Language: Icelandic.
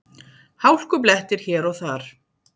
Hálkublettir hér og þar